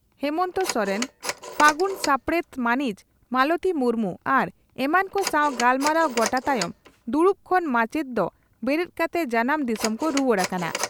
ᱦᱮᱢᱚᱱᱛᱚ ᱥᱚᱨᱮᱱ ᱯᱷᱟᱹᱜᱩᱱ ᱥᱟᱯᱲᱮᱛ ᱢᱟᱹᱱᱤᱡ ᱢᱟᱞᱚᱛᱤ ᱢᱩᱨᱢᱩ ᱟᱨ ᱮᱢᱟᱱ ᱠᱚ ᱥᱟᱣ ᱜᱟᱞᱢᱟᱨᱟᱣ ᱜᱚᱴᱟ ᱛᱟᱭᱚᱢ ᱫᱩᱲᱩᱵ ᱠᱷᱚᱱ ᱢᱟᱪᱮᱛ ᱫᱚ ᱵᱮᱨᱮᱫ ᱠᱟᱛᱮ ᱡᱟᱱᱟᱢ ᱫᱤᱥᱚᱢ ᱠᱚ ᱨᱩᱣᱟᱹᱲ ᱟᱠᱟᱱᱟ ᱾